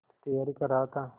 तैयारी कर रहा था